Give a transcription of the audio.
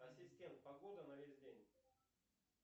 ассистент погода на весь день